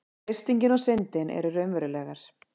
freistingin og syndin eru raunverulegar